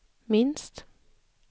minst